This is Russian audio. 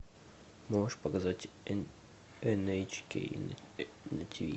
можешь показать эн эйч кей на тиви